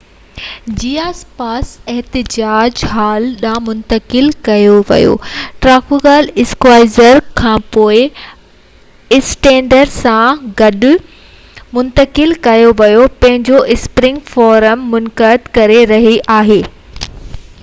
11:29 جي آس پاس احتجاج وائٽ هال ڏانهن منتقل ٿيو ٽرافلگار اسڪوائر کانپوءِ اسٽرينڊ سان گڏ الڊائچ ۽ ڪنگز وي کان هولبورن ڏانهن گذرندي جتي Grand Connaught Rooms hotel ۾ Conservative Party پنهنجو اسپرنگ فورم منعقد ڪري رهي هئي